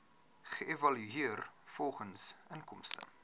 geëvalueer volgens inkomste